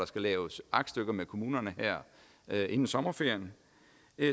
skal laves aktstykker med kommunerne her inden sommerferien